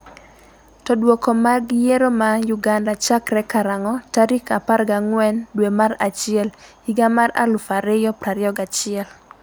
to Duoko mag yiero ma Uganda chakre karang'o tarik 14 dwe mar achiel higa mar 2021?